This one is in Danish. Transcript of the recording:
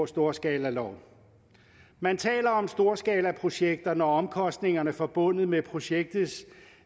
storskalalov man taler om storskalaprojekter når omkostningerne forbundet med projektets